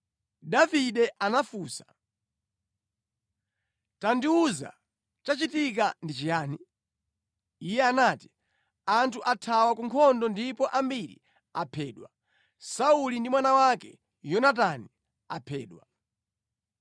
Davide anafunsa, “Tandiwuza, chachitika ndi chiyani?” Iye anati, “Anthu athawa ku nkhondo ndipo ambiri aphedwa. Sauli ndi mwana wake Yonatani aphedwa.”